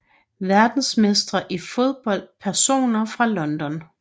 Verdensmestre i fodbold Personer fra London